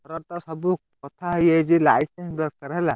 ସବୁ କଥାହେଇଯାଇଛି light ଦରକାର ହେଲା।